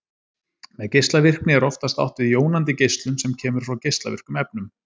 Með geislavirkni er oftast átt við jónandi geislun sem kemur frá geislavirkum efnum.